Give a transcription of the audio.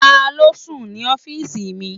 Taló n sùn ní ọ́fìsì mi?